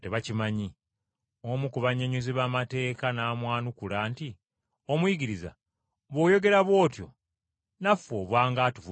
Omu ku bannyonnyozi b’amateeka n’amwanukula nti, “Omuyigiriza bw’oyogera bw’otyo naffe oba ng’atuvumiddemu.”